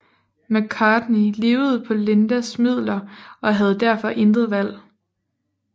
McCartney levede på Lindas midler og havde derfor intet valg